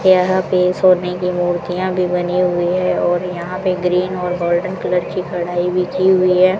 यहां पे सोने की मूर्तियां भी बनी हुई है और यहां पे ग्रीन और गोल्डन कलर की कढ़ाई भी की हुई है।